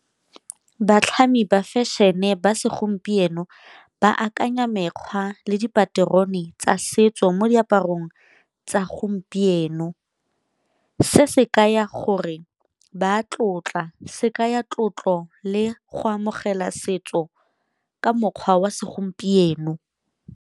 Batlhami ba fashion-e ba segompieno ba akanya mekgwa le dipaterone tsa setso mo diaparong tsa gompieno, se se kaya gore ba tlotla se kaya tlotlo le go amogela setso ka mokgwa wa segompieno.